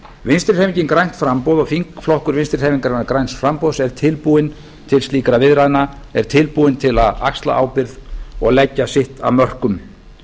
vinstri hreyfingin grænt framboð og þingflokkur vinstri hreyfingarinnar græns framboðs er tilbúinn til slíkra viðræðna er tilbúin til að axla ábyrgð og leggja sitt af mörkum